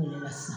O le la sisan